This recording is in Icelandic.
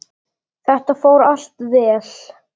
Þetta fór allt vel.